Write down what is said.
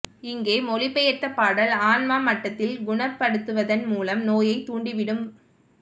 இங்கே மொழிபெயர்த்த பாடல் ஆன்மா மட்டத்தில் குணப்படுத்துவதன் மூலம் நோயைத் துண்டித்து விடும்